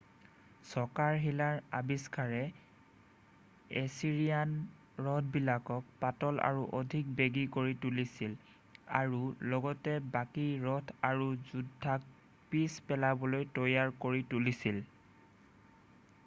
চকাৰ শিলাৰ আবিষ্কাৰে এছিৰিয়ান ৰথবিলাকক পাতল আৰু অধিক বেগী কৰি তুলিছিল আৰু লগতে বাকী ৰথ আৰু যোদ্ধাক পিছ পেলাবলৈ তৈয়াৰ কৰি তুলিছিল